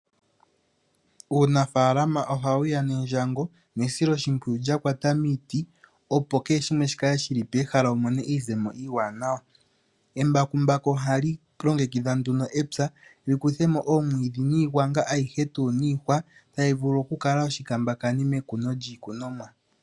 Uunafalama ohawu ya nendjango nesilo shimpwiyu lyakwata miiti. Opo kehe shimwe shi kale shili pehala wu mone iizemo iiwanawa. Embakumbaku ohali longekidha nduno epya li kuthemo oomwiidhi niigwanga ayihe tuu niihwa tayi vulu oku kala oshikambakani mekuno lyiikunomwa.